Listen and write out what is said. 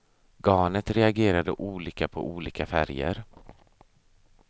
Garnet reagerade olika på olika färger.